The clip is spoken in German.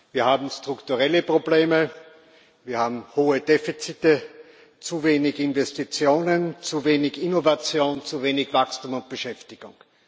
Wir haben strukturelle Probleme, wir haben hohe Defizite, zu wenig Investitionen, zu wenig Innovation, zu wenig Wachstum und Beschäftigung.